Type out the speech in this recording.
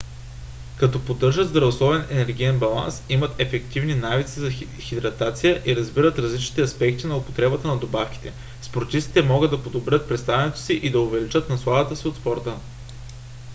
като поддържат здравословен енергиен баланс имат ефективни навици за хидратация и разбират различните аспекти на употребата на добавки спортистите могат да подобрят представянето си и да увеличат насладата си от спорта